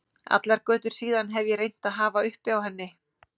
Allar götur síðan hef ég reynt að hafa uppi á henni.